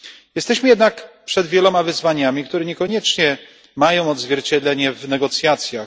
Jesteśmy jednak przed wieloma wyzwaniami, które niekoniecznie mają odzwierciedlenie w negocjacjach.